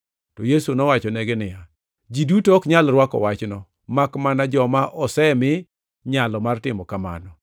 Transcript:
To Yesu nowachonegi niya, “Ji duto ok nyal rwako wachno, makmana joma osemi nyalo mar timo kamano.